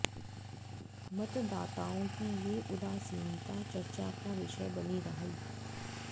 मतदाताओं की ये उदासनीता चर्चा का विषय बनी रही